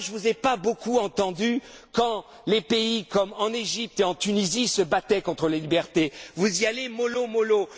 Moi, je ne vous ai pas beaucoup entendu quand les pays comme l'Égypte et la Tunisie se battaient pour les libertés vous y allez mollo